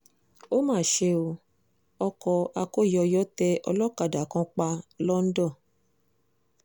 ó mà ṣe o ọkọ̀ akóyọyọ tẹ olókàdá kan pa lọ́ńdọ̀